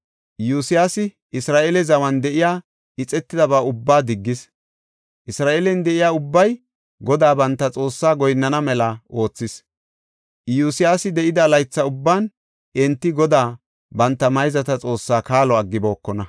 Iyosyaasi Isra7eele zawan de7iya ixetidaba ubbaa diggis. Isra7eelen de7iya ubbay Godaa, banta Xoossaa goyinnana mela oothis. Iyosyaasi de7ida laytha ubban enti Godaa, banta mayzata Xoossaa kaalo aggibokona.